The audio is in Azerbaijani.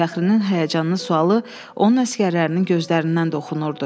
Fəxrinin həyəcanlı sualı onun əsgərlərinin gözlərindən də oxunurdu.